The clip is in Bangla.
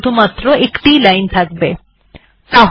ফাইল টিতে একটিমাত্র লাইন থাকা উচিত